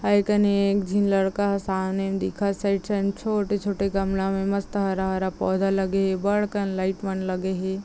इकनेक एक झीन लड़का ह सामने दिखत छोटे -छोटे गमला में मस्त हरा -हरा पौधा लगे हे बढ़ कन लाईट मन लगे हे।